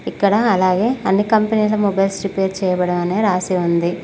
ఇక్కడ అలాగే అన్ని కంపెనీ ల మొబైల్ రిపేర్స్ చేయబడును అని రాసి ఉంది.